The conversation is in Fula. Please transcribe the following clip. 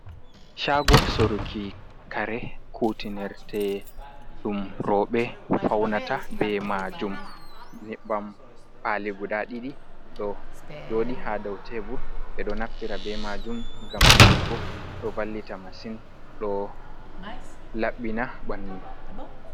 Shago sorruki kare kutinirte ɗum rowɓe faunata be majum, Nyebbam pali guda ɗiɗi ɗo joɗi ha dau tebur ɓeɗo naftira be majum ngam wujugo ɗo vallita masin ɗo laɓɓina bandu.